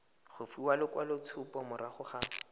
go fiwa lekwaloitshupo morago ga